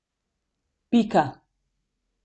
Pika.